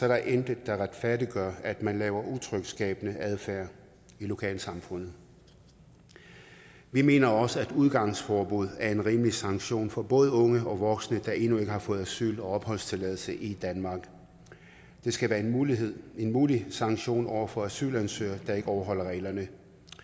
der intet der retfærdiggør at man laver utryghedsskabende adfærd i lokalsamfundet vi mener også at udgangsforbud er en rimelig sanktion for både unge og voksne der endnu ikke har fået asyl og opholdstilladelse i danmark det skal være en mulig en mulig sanktion over for asylansøgere der ikke overholder reglerne